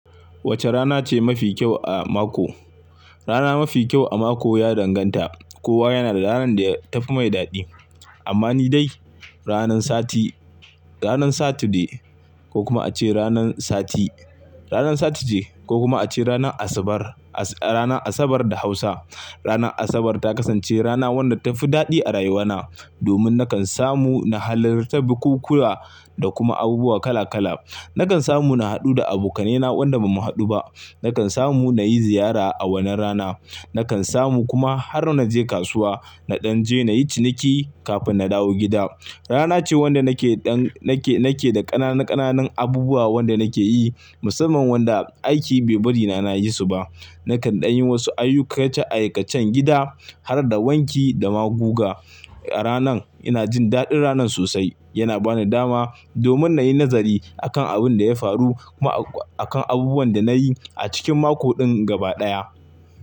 Wace rana ce mafi kyau a mako? Rana mafi kyau a mako ya danganta. Kowa yana da ranar da ya tafi mai daɗi. Amma ni dai, ranan sati ranan Saturday ko kuma ace ranan Sati, ranan Saturday ko kuma ace ranan Asabar, ranan Asabar da Hausa. Ranar Asabar ta kasance rana wanda ta fi daɗi a rayuwana domin nakan samu na halarta bukuwa da kuma abubuwa kala-kala. Nakan samu na haɗu da aboka nai na wanda ba mu haɗu ba. Nakan samu na yi ziyara a wannan rana. Nakan samu kuma har na je kasuwa, na ɗan je na yi ciniki kafin na dawo gida. Rana ce wanda nake dan nake nakedan ƙananun ƙananun abubuwa wanda nake yi musamman wanda aiki bai bari na yi su ba. Nakan ɗan yi wasu ayyu kacen aikacen gida har da wanki da maguga. A ranan ina jin daɗin ranan sosai. Yana ba ni dama domin na yi nazari akan abin da ya faru kuma akan abubuwan da na yi a cikin mako ɗin gaba ɗaya.